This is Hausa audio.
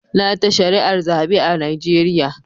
Na ta shari'ar zabe a Najeriya.